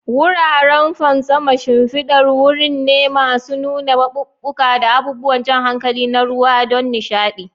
Wuraren fantsama shimfidar wuri ne masu nuna maɓuɓɓuka da abubuwan jan hankali na ruwa don nishaɗi.